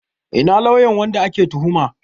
Ina lauyan wanda ake tuhuma?